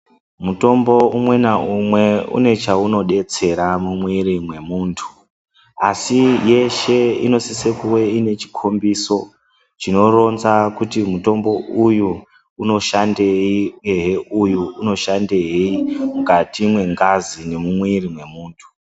Mutombo umwe naumwe une chaunodetsera mumwiiri mwemuntu. Asi yeshe inosise kuve iine chikombiso chinotonza kuti uyu unoshandei uyehe uyu unoshandei mukati mwengazi nemumwiiri mwemuntu.